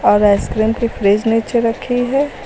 और आइसक्रीम की फ्रिज नीचे रखी है।